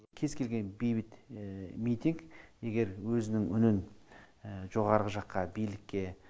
кез келген бейбіт митинг егер өзінің үнін жоғарғы жаққа билікке